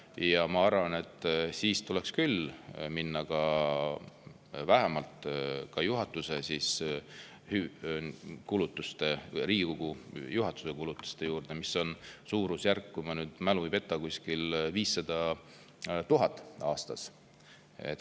Ja ma arvan, et siis tuleks küll minna vähemalt ka Riigikogu juhatuse kulutuste juurde, mis on suurusjärgus, kui mu mälu ei peta, 500 000 eurot aastas.